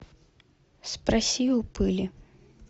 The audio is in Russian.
спроси у пыли